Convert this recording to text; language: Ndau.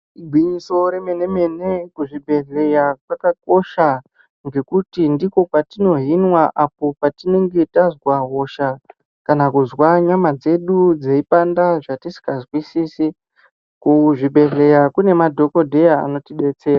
Igwinyiso remene mene kuzvibhedhlera kwakakosha ngekuti ndikwo kwatinohinwe apo patinenge tazwa hosha kana kuzwei nyama dzedu dzeipanda zvatisingazwisisi. Kuzvibhedhlera kune madhokodheya anotidetsera.